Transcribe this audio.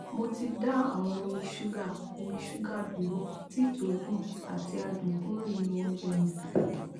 mo ti dá awon omi sugar omi sugar duro tea to dun ati adun kuro ninu ounje mi